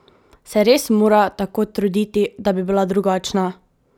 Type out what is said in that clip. Se res mora tako truditi, da bi bila drugačna?